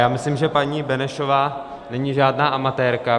Já myslím, že paní Benešová není žádná amatérka.